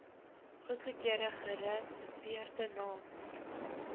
goedgekeurde gereserveerde naam